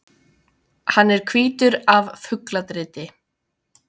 Hann er hvítur af fugladriti.